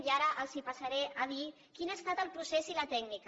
i ara els passaré a dir quin n’ha estat el procés i la tècnica